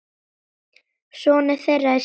Sonur þeirra er Sindri.